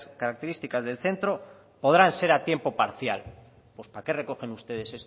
características del centro podrán ser a tiempo parcial pues para qué recogen ustedes